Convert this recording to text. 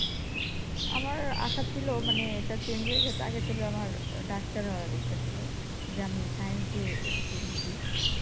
আমার আশা ছিল মানি এটা change হয়ে গেছে। আগে ছিল আমার ডাক্তার হওয়ার ইচ্ছা ছিল আমার যে আমি science দিয়ে SSC দিয়েছি